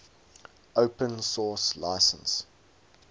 open source license